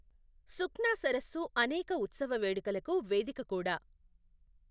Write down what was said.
సుఖ్నా సరస్సు అనేక ఉత్సవ వేడుకలకు వేదిక కూడా.